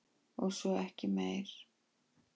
Og svo ekki meir.